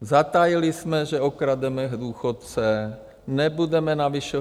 Zatajili jsme, že okrademe důchodce, nebudeme navyšovat.